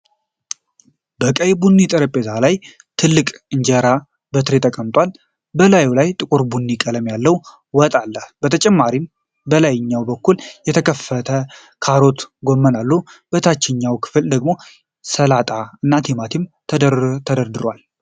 በቀይ ቡኒ ጠረጴዛ ላይ፣ ትልቅ እንጀራ በትሪ ተቀምጧል። በላዩ ላይ ጥቁር ቡኒ ቀለም ያለው ወጥ አለ። በተጨማሪም በላይኛው በኩል የተከተፈ ካሮትና ጎመን አሉ። በታችኛው ክፍል ደግሞ ሰላጣ እና ቲማቲም ተደርድረዋል።